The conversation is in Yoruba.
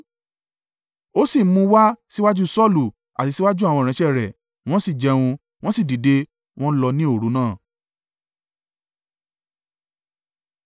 Ó sì mú un wá síwájú Saulu, àti síwájú àwọn ìránṣẹ́ rẹ̀; wọ́n sì jẹun. Wọ́n sì dìde, wọ́n lọ ní òru náà.